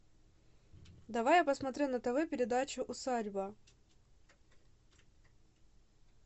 давай я посмотрю на тв передачу усадьба